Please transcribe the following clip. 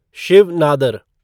Shiv Nadar